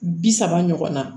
Bi saba ɲɔgɔn na